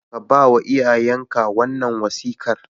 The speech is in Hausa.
Ka ba wa iyayenka wannan wasiƙar